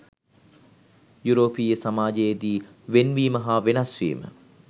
යුරෝපීය සමාජයේ දී ‘වෙන්වීම’ හා ‘වෙනස් වීම’